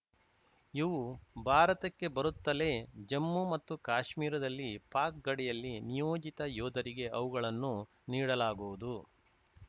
ಇವು ಭಾರತಕ್ಕೆ ಬರುತ್ತಲೇ ಜಮ್ಮು ಮತ್ತು ಕಾಶ್ಮೀರದಲ್ಲಿ ಪಾಕ್‌ ಗಡಿಯಲ್ಲಿ ನಿಯೋಜಿತ ಯೋಧರಿಗೆ ಅವುಗಳನ್ನು ನೀಡಲಾಗುವುದು